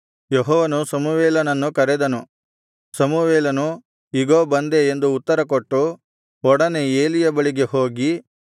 ಯೆಹೋವನು ಸಮುವೇಲನನ್ನು ಕರೆದನು ಸಮುವೇಲನು ಇಗೋ ಬಂದೆ ಎಂದು ಉತ್ತರಕೊಟ್ಟು ಒಡನೆ ಏಲಿಯ ಬಳಿಗೆ ಹೋಗಿ